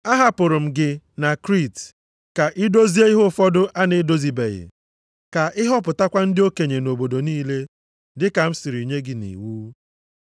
Ahapụrụ m gị na Kriit ka i dozie ihe ụfọdụ a na-edozibeghị, ka ị họpụtakwa ndị okenye nʼobodo niile, dị ka m siri nye gị nʼiwu.